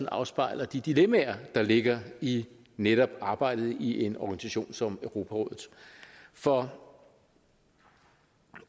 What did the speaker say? afspejler de dilemmaer der ligger i netop arbejdet i en organisation som europarådet for